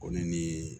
Ko ne ni